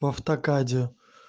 в автокаде